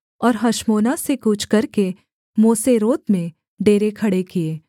और हशमोना से कूच करके मोसेरोत में डेरे खड़े किए